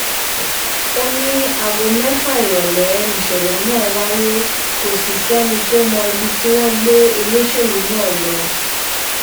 ó ní aago mẹ́fà ìrọ̀lẹ́ nìṣẹ̀lẹ̀ náà wáyé kò sì sẹ́ni tó mọ ibi tí wọ́n gbé olóṣèlú náà lọ